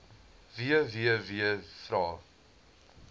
vvvvrae